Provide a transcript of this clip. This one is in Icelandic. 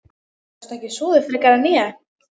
Gastu ekki sofið frekar en ég?